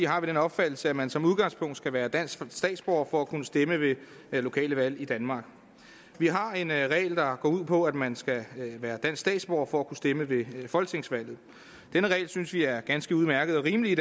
har vi den opfattelse at man som udgangspunkt skal være dansk statsborger for at kunne stemme ved lokale valg i danmark vi har en regel der går ud på at man skal være dansk statsborger for at kunne stemme ved folketingsvalget denne regel synes vi er ganske udmærket og rimelig